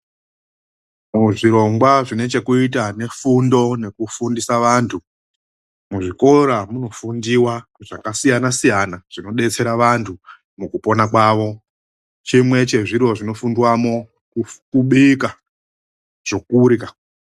Muzvirongwa zvine chekuita nefundo nekufundisa vantu, muzvikora munofundiwa zvakasiyana-siyana zvinobetsera vantu mukupona kwawo. Chimwe chezviro zvinofundwamo kubika chokurya.